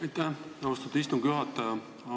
Aitäh, austatud istungi juhataja!